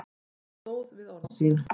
Hann stóð við orð sín.